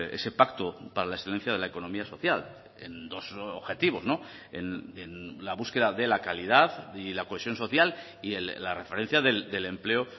ese pacto para la excelencia de la economía social en dos objetivos en la búsqueda de la calidad y la cohesión social y la referencia del empleo